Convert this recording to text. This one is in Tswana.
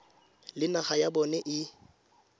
le naga ya bona e